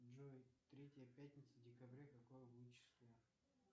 джой третья пятница декабря какое будет число